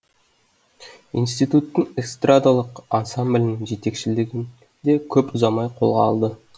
институттың эстрадалық ансамблінің жетекшілігін де көп ұзамай қолға алды